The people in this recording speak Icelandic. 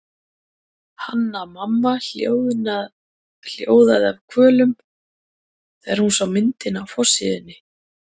Hanna-Mamma hljóðaði af kvölum þegar hún sá myndina á forsíðunni.